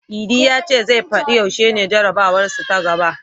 Idi ya ce zai fadi yaushe ne jarabawarsu ta gaba.